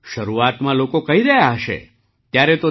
શરૂઆતમાં લોકો કહી રહ્યા હશે ત્યારે તો